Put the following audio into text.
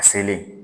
A selen